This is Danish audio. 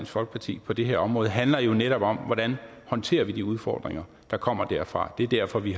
folkeparti på det her område handler jo netop om hvordan vi håndterer de udfordringer der kommer derfra det er derfor vi